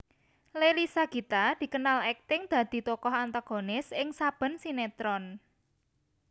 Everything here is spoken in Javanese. Leily Sagita dikenal akting dadi tokoh antagonis ing saben sinetron